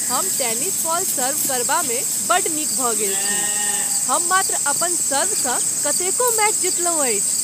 हम tennis ball serve करबामे बड्ड नीक भऽ गेल छी। हम मात्र अपन सर्वसँ कतेको मैच जीतलहुँ अछि।